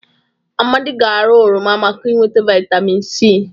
Amadị ga-ara oroma maka inweta vịtamịn c.